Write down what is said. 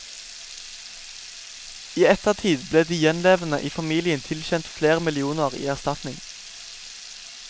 I ettertid ble de gjenlevende i familien tilkjent flere millioner i erstatning.